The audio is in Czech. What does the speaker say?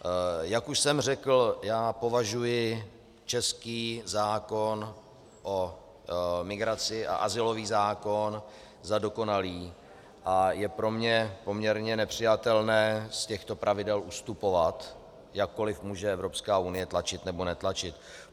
Jak už jsem řekl, já považuji český zákon o migraci a azylový zákon za dokonalý a je pro mě poměrně nepřijatelné z těchto pravidel ustupovat, jakkoliv může Evropská unie tlačit nebo netlačit.